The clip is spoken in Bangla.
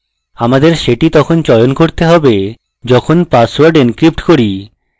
আমাদের সেটি তখন চয়ন করতে হবে যখন পাসওয়ার্ড encrypt করি